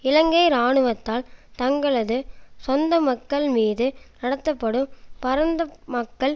இலங்கை இராணுவத்தால் தங்களது சொந்த மக்கள் மீது நடத்தப்படும் பரந்த மக்கள்